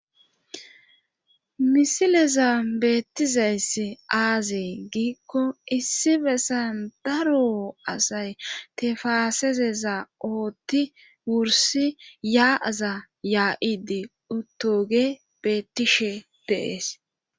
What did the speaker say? Misileza beettizayssi aazee giikko issi bessan daro asay tefaasezeza ooththi wursi yaa'aza yaa'idi uttogey bettishshe de'ees